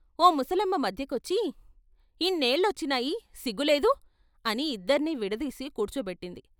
ఓ ముసలమ్మ మధ్యకొచ్చి "ఇన్నేళ్ళొచ్చినాయి సిగ్గులేదూ.." అని ఇద్దర్నీ విడదీసి కూర్చోబెట్టింది.